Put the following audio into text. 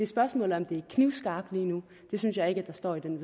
spørgsmålet om det er knivskarpt lige nu det synes jeg ikke at der står i